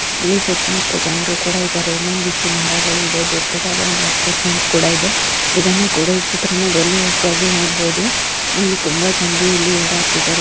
ಇಲಿ ಸುತ್ತಮುತ್ತ ಜನಗಳು ಸಹ ಇದ್ದಾರೆ ಒಂದಿಷ್ಟು ಮರಗಳು ಸಹ ಇದೆ ದೊಡ್ಡದಾಗಿ ಅಪ್ಪಾರ್ಟ್ಮೆಂಟ್ ಸಹ ಇದೆ ಈ ಚಿತ್ರದಲ್ಲಿ ನೋಡಬಹುದು ತುಂಬಾ ಜನರಲ್ಲಿ ಓಡಾಡ್ತಾ ಇದ್ದಾರೆ